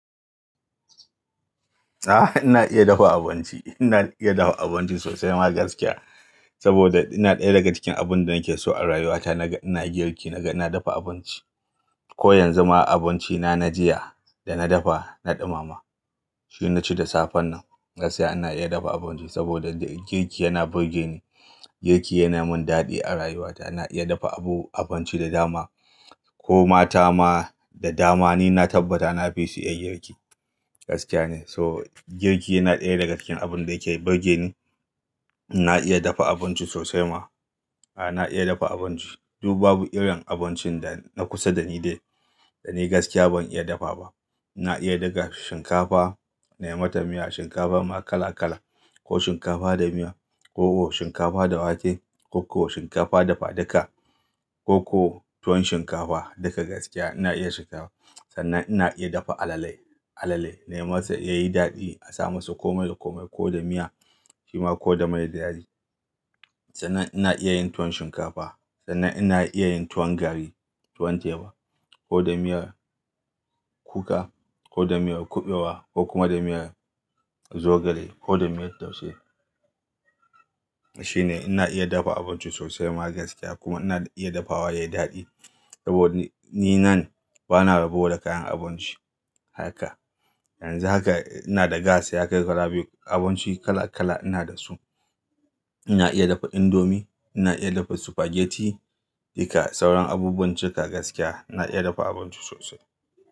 Ah ina iya dafa abinci, ina iya dafa abinci sosai ma gaskiya. Saboda yana ɗaya daga cikin abun da nake so a rayuwa ta naga ina girki naga ina dafa abinci. Ko yanzu ma abinci na na jiya dana dafa na ɗumama. Shi naci da safen nan. Gaskiya ina iya dafa abinci saboda girki yana burge ni. Girki yana mun dadi a rayuwa ta. Na iya dafa abu abinci da dama. Ko mata ma da dama ni na tabbata na fi su iya girki. Gaskiya ne. So girki yana ɗaya daga cikin abun da yake burge ni. Ina iya dafa abinci sosai ma. A na iya dafa abinci. Dub babu irin abincin da na kusa da ni dai dani gaskiya ban iya dafa ba. Ina iya daga shinkafa, nema ta miya, shinkafa ma kala kala. Ko shinkafa da miya, ko shinkafa da wake, ko shinkafa da faduka, ko tuwon shinkafa duka gaskiya ina iya shinkafa. Sannan ina iya dafa alale, alale nayi ma sa yayi dadi a sama sa komai da komai ko da miya, shima ko da mai da yadi. Sannan ina iya yin tuwon shinkafa, sannan ina iya yin tuwon garri, tuwon teba ko da miyar kuka, ko da miyar kuɓewa ko kuma da miyar zogale ko da miyar taushe. Shi ne ina iya dafa abinci sosai ma gaskiya kuma ina iya dafawa yayi dadi. Saboda ni nan bana rabo da kayan abinci haka. Yanzu haka ina da gas ya kai kala biyu abinci kala kala ina da su. Ina iya dafa indomi, ina iya dafa spaghetti duka sauran abubuwan cika gaskiya ina iya dafa abinci sosai.